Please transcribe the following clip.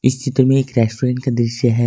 चित्र में एक रेस्टोरेंट का दृश्य है।